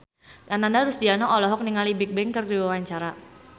Ananda Rusdiana olohok ningali Bigbang keur diwawancara